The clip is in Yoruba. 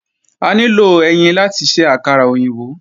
A nílò ẹyin láti ṣe àkàrà òyìnbó